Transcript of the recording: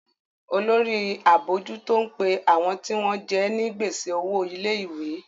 Olórí abojuto ń pe àwọn tí wọ́n jẹ ní gbèsè owo ilé-ìwé.